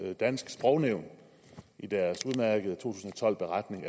dansk sprognævn i deres udmærkede beretning